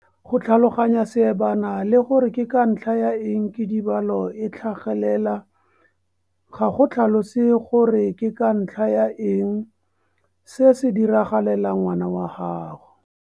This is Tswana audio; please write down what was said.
Go tlhaloganya seebana le gore ke ka ntlha ya eng kidibalo e tlhagelela ga go tlhalose gore ke ka ntlha ya eng se se diragalela ngwana wa gago.